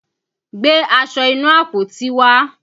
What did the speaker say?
Gbé aṣọ inú àpótí wá!